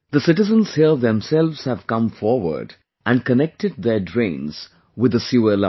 The citizens here themselves have come forward and connected their drains with the sewer line